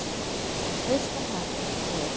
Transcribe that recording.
Veislan heppnaðist vel.